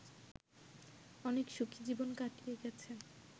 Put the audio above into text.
অনেক সুখী জীবন কাটিয়ে গেছে